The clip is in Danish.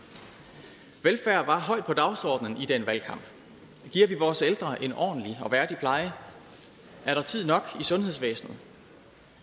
velfærd var højt på dagsordenen i den valgkamp giver vi vores ældre en ordentlig og værdig pleje er der tid nok i sundhedsvæsenet